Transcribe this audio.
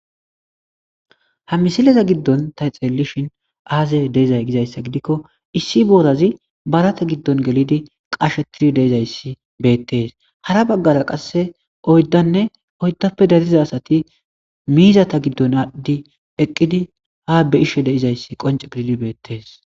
ha misileza giddon ta xeellishin aazey de'ezay gizayssa gidikko issi borazi barate giddon gelidi qashetiri de'izayssi beettees hara baggara qasse oyddanne oyddappe dariza asati miizata giddon addi eqqidi ha be'ishe deizayssi qonce gididi beettees